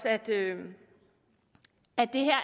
at det